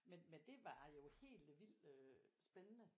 Men men det var jo helt øh vildt øh spændende